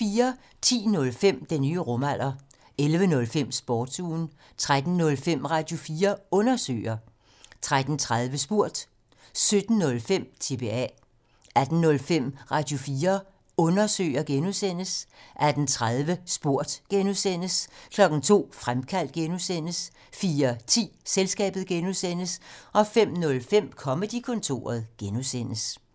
10:05: Den nye rumalder 11:05: Sportsugen 13:05: Radio4 Undersøger 13:30: Spurgt 17:05: TBA 18:05: Radio4 Undersøger (G) 18:30: Spurgt (G) 02:00: Fremkaldt (G) 04:10: Selskabet (G) 05:05: Comedy-kontoret (G)